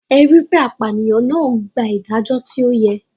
Ẹ ri pe apànìyàn náà gbà ìdájọ́ tí ó yẹ.